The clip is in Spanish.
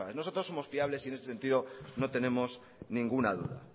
nosotros somos fiables y en ese sentido no tenemos ninguna duda